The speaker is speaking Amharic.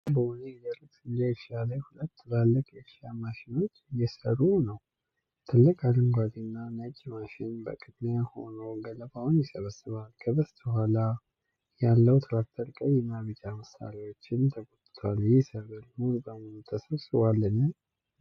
ቢጫ በሆነ የደረቀ ስንዴ እርሻ ላይ ሁለት ትላልቅ የእርሻ ማሽኖች እየሠሩ ነው። ትልቁ አረንጓዴና ነጭ ማሽን በቅድሚያ ሆኖ ገለባውን ይሰበስባል። ከበስተኋላው ያለው ትራክተር ቀይና ቢጫ መሳሪያዎችን ተጎትቷል። ይህ ሰብል ሙሉ በሙሉ ተሰብስቧልን?